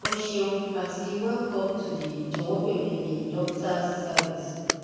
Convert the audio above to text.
o ṣeun ati welcome to the jọwọ beere a doctor service